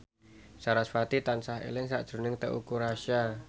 sarasvati tansah eling sakjroning Teuku Rassya